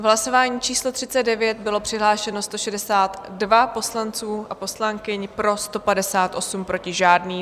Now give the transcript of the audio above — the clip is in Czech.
V hlasování číslo 39 bylo přihlášeno 162 poslanců a poslankyň, pro 158, proti žádný.